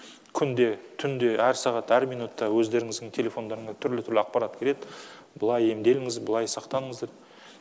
күнде түнде әр сағат әр минутта өздеріңіздің телефондарыңа түрлі түрлі ақпарат келеді былай емделіңіз былай сақтаныңыз деп